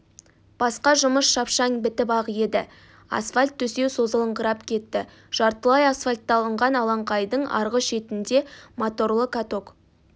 басқа жұмыс шапшаң бітіп-ақ еді асфальт төсеу созылыңқырап кетті жартылай асфальтталынған алаңқайдың арғы шетінде моторлы каток